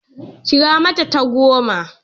Kira mata ta goma!